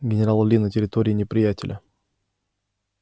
генерал ли на территории неприятеля